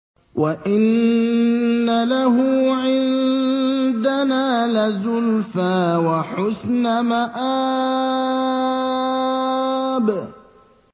وَإِنَّ لَهُ عِندَنَا لَزُلْفَىٰ وَحُسْنَ مَآبٍ